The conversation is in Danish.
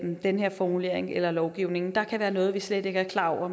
den her formulering eller lovgivning der kan være noget som vi slet ikke er klar over